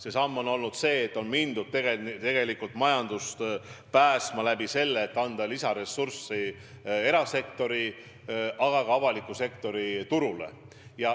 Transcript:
See samm on olnud see, et on mindud majandust päästma lisaressursi andmisega erasektorile, aga ka avalikule sektorile.